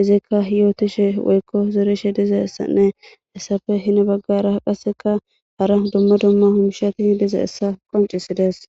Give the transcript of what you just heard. izikka hiyootishe woykko zerishe dizeessanne hessafe hine baggara qasseka hara dumma dumma humishati dize essa qoncisides